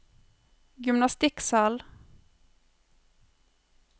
gymnastikksal